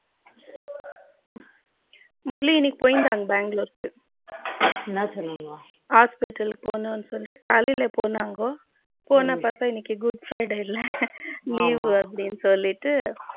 முரளி இன்னைக்கு போயிருதங்க பெங்களூர் கு என்ன சொன்னாங்க hospital பொன்னும் சொல்லிட்டு காலைல போனங்க போன பத்த இன்னைக்கு good friday இல்லை leave வூ அப்படினு சொல்லிட்டு